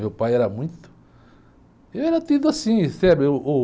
Meu pai era muito... Eu era tido assim, sabe? Uh Uh